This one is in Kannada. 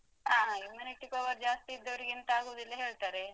ಹಾ Immunity power ಜಾಸ್ತಿ ಇದ್ದವರಿಗೆ ಎಂತ ಆಗುದಿಲ್ಲ ಹೇಳ್ತಾರೆ.